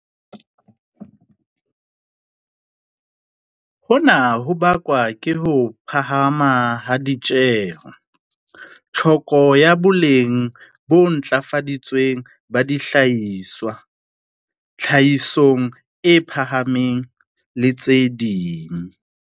Hona ho bakwa ke ho phahama ha ditjeho, tlhoko ya boleng bo ntlafaditsweng ba dihlahiswa, tlhahiso e phahameng, le tse ding.